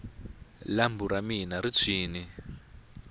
lambu ra mina ri tshwini